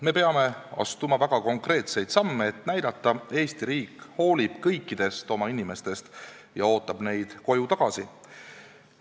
Me peame astuma väga konkreetseid samme, et näidata: Eesti riik hoolib kõikidest oma inimestest ja ootab neid koju tagasi.